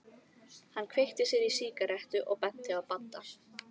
Hann kveikti sér í sígarettu og benti á Badda.